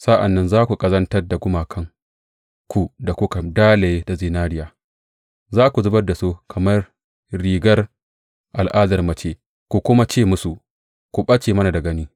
Sa’an nan za ku ƙazantar da gumakanku da kuka dalaye da zinariya; za ku zubar da su kamar rigar al’adar mace ku kuma ce musu, Ku ɓace mana da gani!